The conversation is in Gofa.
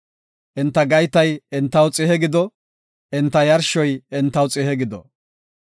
Enta gaytay entaw xihe gido; enta yarshoy entaw xihe gido.